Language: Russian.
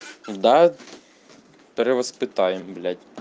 да перевоспитаем блядь